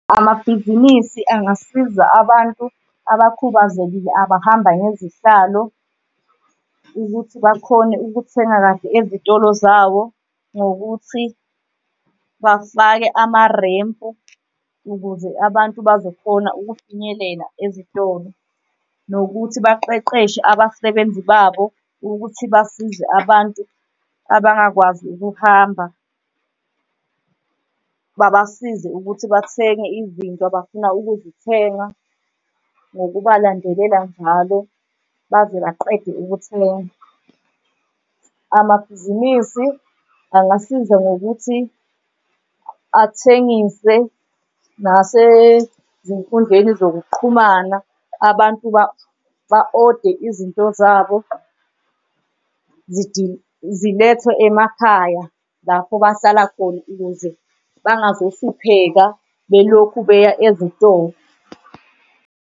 Amabhizinisi angasiza abantu abakhubazekile abahamba ngezihlalo ukuthi bakhone ukuthenga kahle ezitolo zawo ngokuthi bafake amarempu ukuze abantu bazokhona ukufinyelela ezitolo. Nokuthi baqeqeshe abasebenzi babo ukuthi basize abantu abangakwazi ukuhamba babasize ukuthi bathenge izinto abafuna ukuzithenga, ngokubalandelela njalo baze baqede ukuthenga. Amabhizinisi angasiza ngokuthi athengise nasezinkundleni zokuqhumana, abantu ba-ode izinto zabo zilethwe emakhaya lapho bahlala khona ukuze bangazohlupheka belokhu beya ezitolo.